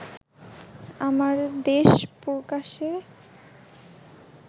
আমার দেশ প্রকাশে